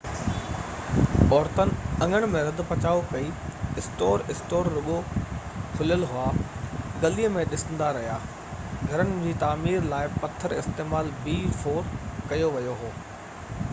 عورتن اڱڻ ۾ رڌ پچاءُ ڪئي؛ اسٽور اسٽور رڳو کليل هئا ۽ گلي ۾ ڏسندا رهيا. گهرن جي تعمير لاءِ پٿر استعمال ڪيو ويو هو.b4